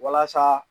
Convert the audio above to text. Walasa